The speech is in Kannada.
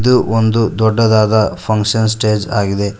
ಇದು ಒಂದು ದೊಡ್ಡದಾದ ಫಂಕ್ಷನ್ ಸ್ಟೇಜ್ ಆಗಿದೆ.